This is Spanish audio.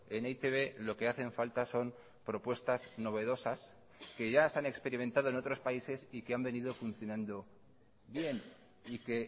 en e i te be lo que hacen falta son propuestas novedosas que ya se han experimentado en otros países y que han venido funcionando bien y que